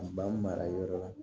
A ba mara yɔrɔ la